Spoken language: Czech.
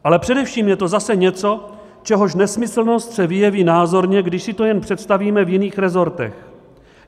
Ale především je to zase něco, čehož nesmyslnost se vyjeví názorně, když si to jen představíme v jiných resortech.